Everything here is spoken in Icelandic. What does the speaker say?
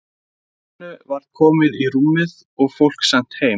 Lenu verið komið í rúmið og fólk sent heim.